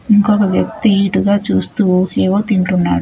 ఒక వ్యక్తి ఇటుగా చూస్తూ ఏవో తింటున్నాడు.